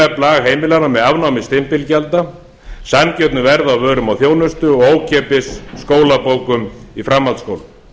efla hag heimilanna með afnámi stimpilgjalda sanngjörnu veðri á vörum og þjónustu og ókeypis skólabókum í framhaldsskólum